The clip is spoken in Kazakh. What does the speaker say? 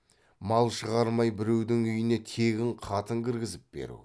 мал шығармай біреудің үйіне тегін қатын кіргізіп беру